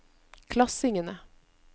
klassingene